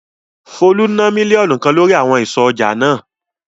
Folú ná mílíọ̀nù kan lórí àwọn àwọn ìsọ̀ ọjà náà.